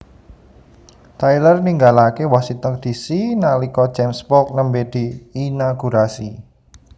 Tyler ninggalake Washington D C nalika James Polk nembe diinagurasi